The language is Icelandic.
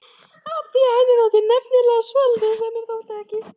Af því henni þótti nefnilega svolítið sem mér þótti ekki.